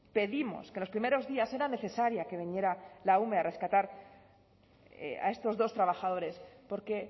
pedimos que en los primeros días era necesaria que viniera la ume a rescatar a estos dos trabajadores porque